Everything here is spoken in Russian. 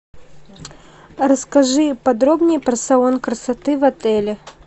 расскажи подробнее про салон красоты в отеле